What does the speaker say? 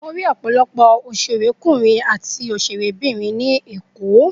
Mo rí ọ̀pọ̀lọpọ̀ Ákítọ̀ àti Ákítírẹ́sì ní èkó